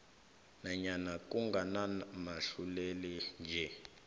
nanyana kunganamahluleli nje